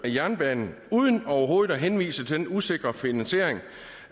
af jernbanen uden overhovedet at henvise til den usikre finansiering